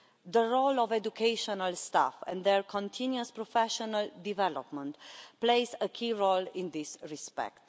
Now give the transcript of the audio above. The role of educational staff and their continuing professional development plays a key role in this respect.